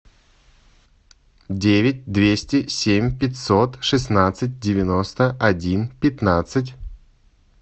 девять двести семь пятьсот шестнадцать девяносто один пятнадцать